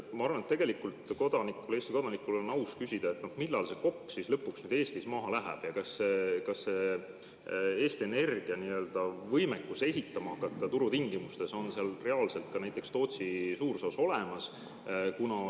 Ma arvan, et kodanikul, Eesti kodanikul, on aus küsida, millal see kopp lõpuks Eestis maasse läheb ja kas Eesti Energia võimekus hakata ehitama turutingimustes on reaalselt ka näiteks Tootsi Suursoos olemas.